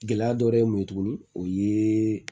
Gɛlɛya dɔ ye mun ye tuguni o ye